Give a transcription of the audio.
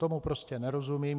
Tomu prostě nerozumím.